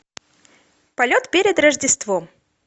полет перед рождеством